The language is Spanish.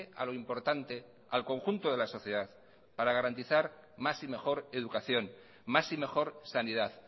a lo importante al conjunto de la sociedad para garantizar más y mejor educación más y mejor sanidad